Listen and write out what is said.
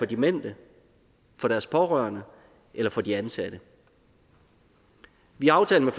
demente for deres pårørende eller for de ansatte i aftalen